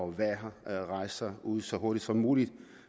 være her rejser ud så hurtigt som muligt